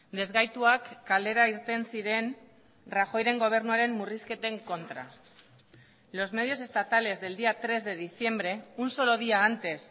desgaituak kalera irten ziren rajoyren gobernuaren murrizketen kontra los medios estatales del día tres de diciembre un solo día antes